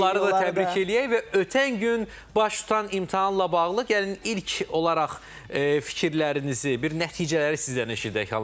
Onları da təbrik eləyək və ötən gün baş tutan imtahanla bağlı gəlin ilk olaraq fikirlərinizi, bir nəticələri sizdən eşidək, Xanlar müəllim.